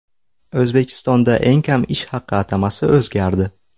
O‘zbekistonda eng kam ish haqi atamasi o‘zgardi.